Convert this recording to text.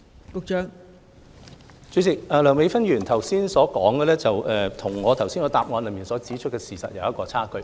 代理主席，梁美芬議員剛才所說的與我在主體答覆中所指的事實有差距。